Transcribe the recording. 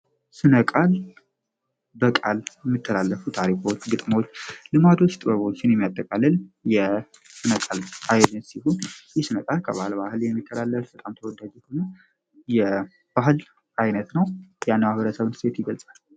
ስነቃል በቃል የሚተላለፉ ታሪፎዎች ግጥሞዎች ልማዶች ጥወበችን የሚያጠቃለል የነፀል አይድን ሲሁን ይህ ስነቃል ከባህለ ባህል የሚከላላፉ ፈጣም ተወዳጊ ሆንም የባህል ዓይነት ነው ያነዋህረሰብን ሴት ይገልፃል፡፡